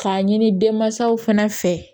K'a ɲini denmansaw fana fɛ